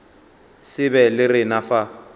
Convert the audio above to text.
se be le rena fa